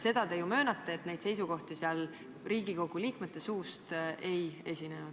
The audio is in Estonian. Seda te ju möönate, et neid seisukohti seal Riigikogu liikmete suust ei kõlanud.